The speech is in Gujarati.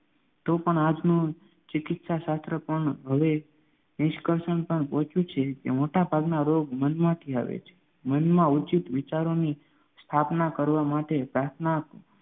તોપણ આજનું ચિકિત્સાશાસ્ત્ર પણ હવે એ નિષ્કર્ષણ પર પહોંચ્યું છે કે મોટાભાગના રોગ મનમાંથી આવે છે મનમાં ઉચિત વિચારોની સ્થાપના કરવા માટે પ્રાર્થના